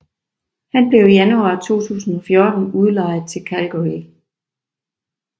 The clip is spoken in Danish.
Han blev i januar 2014 udlejet til Cagliari